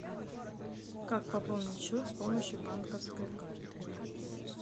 как пополнить счет с помощью банковской карты